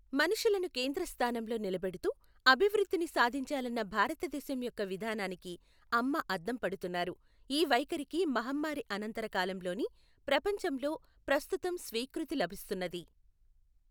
మనుషులను కేంద్రస్థానంలో నిలబెడుతూ అభివృద్ధిని సాధించాలన్న భారతదేశం యొక్క విధానానికి అమ్మ అద్దం పడుతున్నారు, ఈ వైఖరికి మహమ్మారి అనంతర కాలం లోని ప్రపంచంలో ప్రస్తుతం స్వీకృతి లభిస్తున్నది